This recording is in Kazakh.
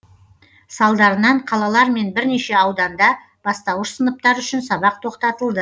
салдарынан қалалар мен бірнеше ауданда бастауыш сыныптар үшін сабақ тоқтатылды